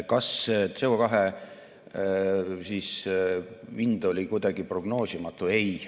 Kas CO2 hind oli kuidagi prognoosimatu?